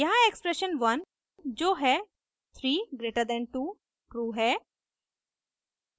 यहाँ एक्सप्रेशन 1 जो है 3>2 ट्रू है